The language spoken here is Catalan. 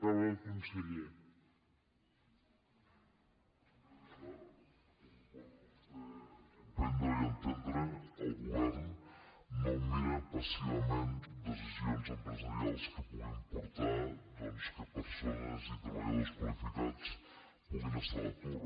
senyor diputat com pot vostè comprendre i entendre al govern no mirem passivament decisions empresarials que puguin portar que persones i treballadors qualificats puguin estar a l’atur